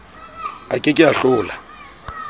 a ke ke a hlola